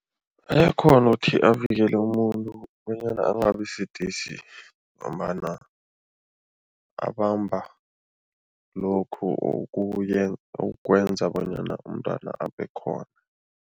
Ayakghona ukuthi avikele umuntu bonyana angabisidisi ngombana abamba lokhu okwenza bonyana umntwana abekhona.